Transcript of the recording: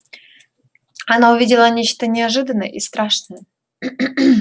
она увидела нечто неожиданное и страшное